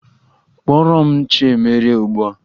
Kpọrọ m Chiemerie ugbu a!